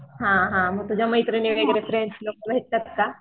हा हा मग तुझ्या मैत्रीणी वगैरे फ्रेंड्स का